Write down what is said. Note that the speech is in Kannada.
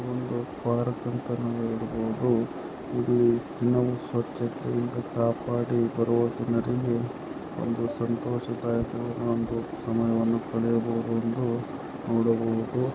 ಇದೊಂದು ಪಾರ್ಕ್ ಅಂತ ನಾವ್ ಹೇಳ್ಬೊದು ಇಲ್ಲಿ ದಿನವೂ ಸ್ವಚ್ಛತೆಯಿಂದ ಕಾಪಾಡಿ ಬರುವ ಜನರಿಗೆ ಒಂದು ಸಂತೋಷದ ಸಮಯವನ್ನು ಕಳೆಯಬಹುದೆಂದು ನೋಡಬಹುದು .